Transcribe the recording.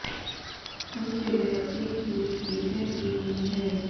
कई जगह age limit भी तय की गई है